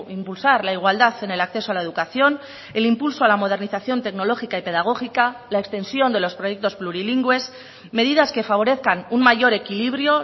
impulsar la igualdad en el acceso a la educación el impulso a la modernización tecnológica y pedagógica la extensión de los proyectos plurilingües medidas que favorezcan un mayor equilibrio